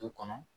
Du kɔnɔ